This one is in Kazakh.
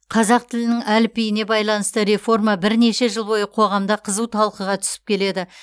қазақ тілінің әліпбиіне байланысты реформа бірнеше жыл бойы қоғамда қызу талқыға түсіп келеді